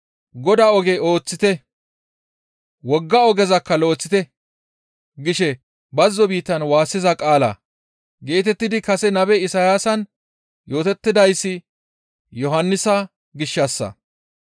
«Godaa oge ooththite; wogga ogezakka lo7eththite gishe bazzo biittan waassiza qaala» geetettidi kase nabe Isayaasan yootettidayssi Yohannisa gishshassa.